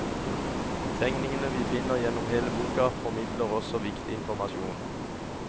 Tegningene vi finner gjennom hele boka formidler også viktig informasjon.